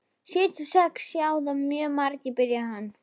Sjötíu og sex sjá það mjög margir, byrjaði hann.